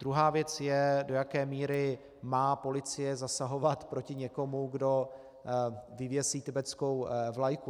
Druhá věc je, do jaké míry má policie zasahovat proti někomu, kdo vyvěsí tibetskou vlajku.